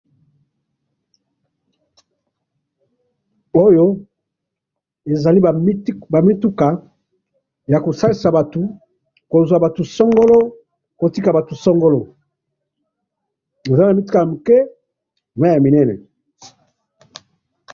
Oyo ezali ba mituka, yakosalisa batu, kozwa batu songolo, kotika batu songolo, eza na mituka yamike, naya minene.